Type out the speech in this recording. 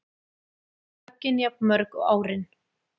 Höggin jafnmörg og árin